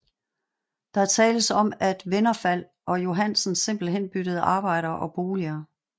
Der tales om at Vennervald og Johansen simpelthen byttede arbejder og boliger